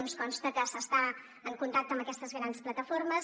ens consta que s’està en contacte amb aquestes grans plataformes